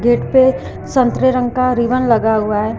Gate पे संतरे रंग का रिबन लगा हुआ हुआ है।